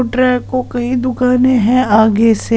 को कई दुकान है आगे से।